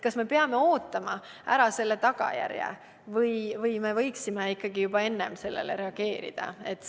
Kas me peame sellise tagajärje ära ootama või võiksime ikkagi juba enne sellele reageerida?